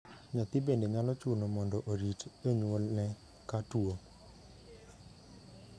Nyathi bende nyalo chuno mondo orit janyuolne ka tuo.